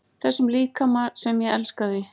Þessum líkama sem ég elskaði.